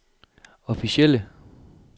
officielle